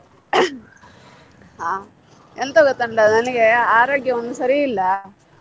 ಹಾ ಎಂತ ಗೊತ್ತುಂಟಾ ನನಿಗೆ ಆರೋಗ್ಯ ಒಂದು ಸರಿ ಇಲ್ಲ.